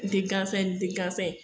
Ni tɛ gansan ye, ni tɛ gansan ye